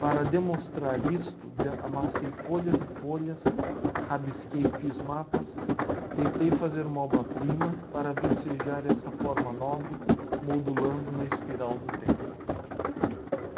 Para demonstrar isto, d, amassei folhas e folhas, rabisquei e fiz mapas, tentei fazer uma obra-prima para vicejar essa forma nobre, modulando na espiral do tempo.